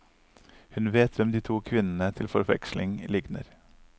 Hun vet hvem de to kvinnene til forveksling ligner.